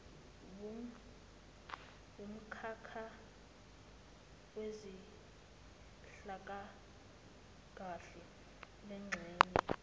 wumkhakha wezenhlalakahle lengxenye